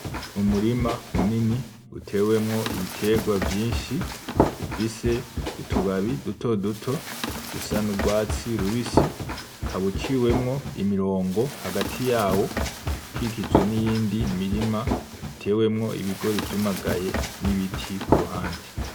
Mu murima munini utewemwo ibitegwa vyinshi bifise utubabi duto duto dusa n'urwatsi rubisi ukaba uciwemwo imirongo hagati yawo ikikujwe n'iyindi mirima itewemwo ibigori vyumaganye n'ibiti ku ruhande.